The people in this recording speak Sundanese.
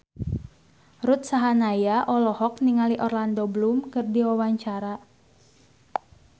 Ruth Sahanaya olohok ningali Orlando Bloom keur diwawancara